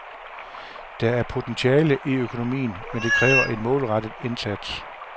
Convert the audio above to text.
Der er potentiale i økonomien, men det kræver en målrettet indsats.